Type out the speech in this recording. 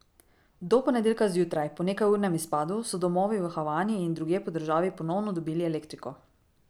Do ponedeljka zjutraj, po nekajurnem izpadu, so domovi v Havani in drugje po državi ponovno dobili elektriko.